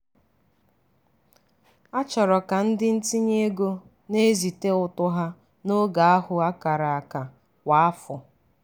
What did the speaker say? a chọrọ ka ndị ntinye ego na-ezite ụtụ ha n'oge ahụ akara aka kwa afọ.